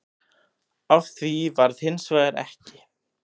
Af því varð hins vegar ekki